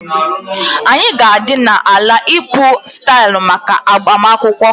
Anyị ga-adị na ala ịkpụ style maka agbamakwụkwọ